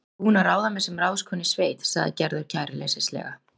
Ég er búin að ráða mig sem ráðskonu í sveit, sagði Gerður kæruleysislega.